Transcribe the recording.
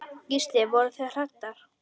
Gísli: Voruð þið hræddar?